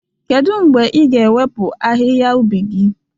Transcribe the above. Kedu mgbe ị ga-ewepụ ahịhịa ubi gị?